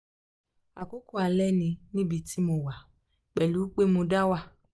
àkókò alẹ́ ̀ni níbi tí mo wà pẹ̀lú pé mo da wà